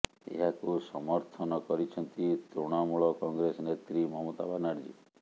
ଏହାକୁ ସମର୍ଥନ କରିଛନ୍ତି ତୃଣମୂଳ କଂଗ୍ରେସ ନେତ୍ରୀ ମମତା ବାନାର୍ଜୀ